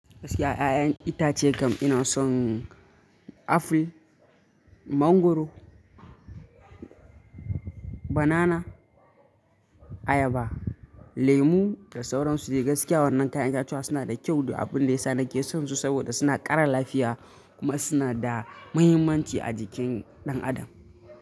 Gaskiya 'ya'yan itace kam inason Apple, mangoro, banana, ayaba, lemu da sauran su dai. Gaskiya wannan kayan kayan itatuwa suna da kyau duk abun da yasa nake sonsu saboda suna ƙara lafiya kuma suna da mahimmanci a jikin ɗan adam.